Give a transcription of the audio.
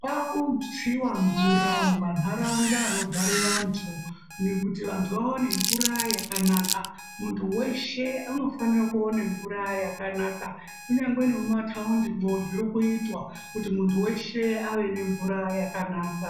kwaakutsiwa mvura mumanharaunda anogare vantu kuti vantu vaone mvura yakanaka. Muntu weshe unofanire kuone mvura yakanaka. Kunyangwe nemumataundimwo zvirikuitwa, kuti muntu weshe ave nemvura yakanaka.